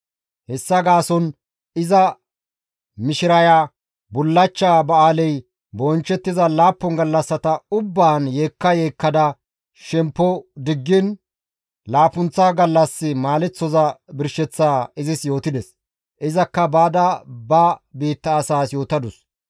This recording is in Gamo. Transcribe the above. Hessa gaason iza mishireya bullachcha ba7aaley bonchchettiza laappun gallassata ubbaan yeekka yeekkada shemppo diggiin laappunththa gallas maaleththoza birsheththaa izis yootides; izakka baada ba biitta asaas yootadus.